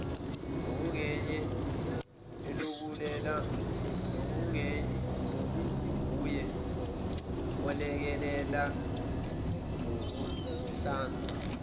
nokunguye olekelela ngokuhlanza